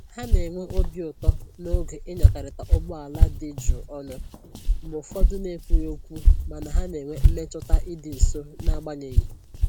Ha na-enwe obi ụtọ n'oge ịnyakọrịta ụgbọ ala dị jụụ ọnụ, mgbe ụfọdụ na ekwughị okwu mana ha na-enwe mmetụta ịdị nso na agbanyeghị